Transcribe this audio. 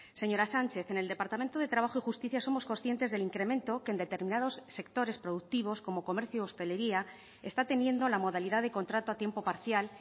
señora sánchez en el departamento de trabajo y justicia somos conscientes del incremento que en determinados sectores productivos como en comercio y hostelería está teniendo la modalidad de contrato a tiempo parcial